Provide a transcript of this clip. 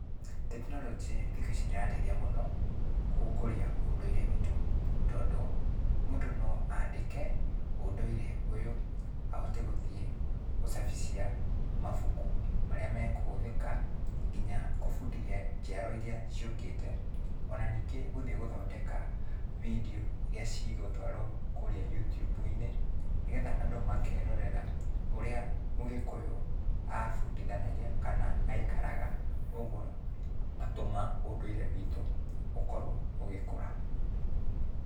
Tekinoronjĩ thikũ ici nĩrateithia mũno, gũkũria ũndũire witũ, tondũ, mũndũ no andĩke, ũndũire ũyũ, ahote gũthiĩ gũcabithia mabuku marĩa meũhũthĩka, kinya gũbundithia njiarwa iria ciũkĩte, ona ningĩ gũthiĩ gũthondeka bindiũ iria cigũtũarũo kũrĩa Youtube-inĩ, nĩgetha andũ makerorera, ũrĩa Mũgĩkũyũ abũndithanagia, kana, aikaraga, ũguo ũgatũma ũndũire witũ ũkorwo ũgĩkũra.